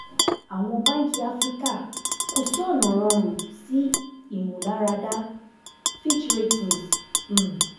àwọn Báńkì Afirika: Kò sí ọ̀nà rọrùn sí Imularada Fitch Ratings um